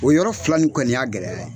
O yɔrɔ fila ni kɔni y'a gɛlɛya ye